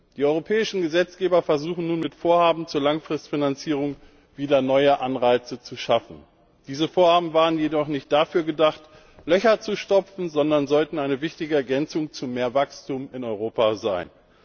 Die europäischen Gesetzgeber versuchen nun, mit Vorhaben zur Langfristfinanzierung wieder neue Anreize zu schaffen. Diese Vorhaben waren jedoch nicht dafür gedacht, Löcher zu stopfen, sondern sollten eine wichtige Ergänzung zu mehr Wachstum in Europa sein.